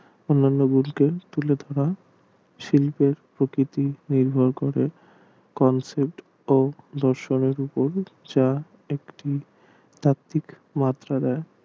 অন্যান্য গুলিকে তুলে ধরা শিল্প প্রকৃতির নির্ভর করে comfort যা একটি ঠিক মাত্রা দেয়